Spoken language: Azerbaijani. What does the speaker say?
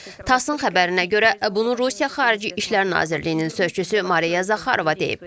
Tasın xəbərinə görə, bunu Rusiya Xarici İşlər Nazirliyinin sözçüsü Mariya Zaxarova deyib.